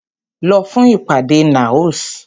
Lọ fún ìpàdé NAOS!